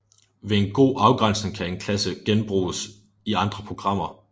Ved en god afgrænsning kan en klasse genbruges i andre programmer